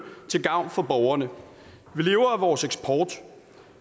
til gavn for borgerne vi lever af vores eksport